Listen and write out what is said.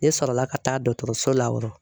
Ne sɔrɔla ka taa dɔtɔrɔso la o rɔ.